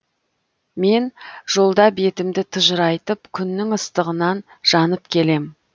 мен жолда бетімді тыжырайтып күннің ыстығынан жанып келем